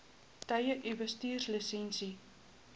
tye u bestuurslisensie